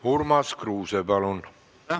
Urmas Kruuse, palun!